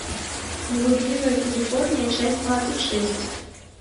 блудливая калифорния часть двадцать шесть